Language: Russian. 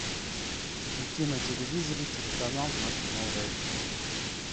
включи на телевизоре телеканал наше новое кино